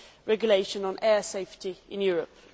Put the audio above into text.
regulation on air safety in Europe.